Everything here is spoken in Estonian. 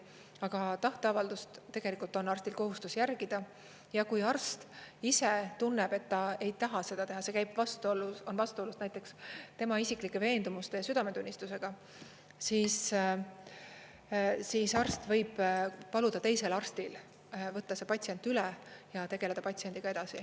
Aga tahteavaldust tegelikult on arstil kohustus järgida ja kui arst ise tunneb, et ta ei taha seda teha, see on vastuolus näiteks tema isiklike veendumuste ja südametunnistusega, siis arst võib paluda teisel arstil võtta see patsient üle ja tegeleda patsiendiga edasi.